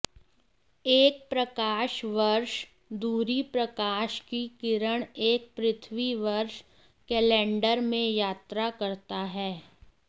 एक प्रकाश वर्ष दूरी प्रकाश की किरण एक पृथ्वी वर्ष कैलेंडर में यात्रा करता है